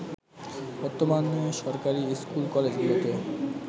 বর্তমানে সরকারী স্কুল-কলেজগুলোতে